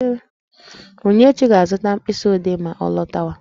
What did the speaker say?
Onyinyechi ga-azụta mkpịsị odee ma ọ lọtawa